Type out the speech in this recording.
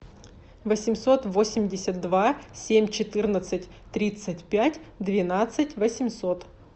восемьсот восемьдесят два семь четырнадцать тридцать пять двенадцать восемьсот